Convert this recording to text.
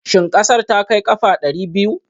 Shin ƙasar ta kai ƙafa ɗari biyu?